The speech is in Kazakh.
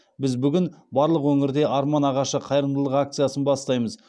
біз бүгін барлық өңірде арман ағашы қайырымдылық акциясын бастаймыз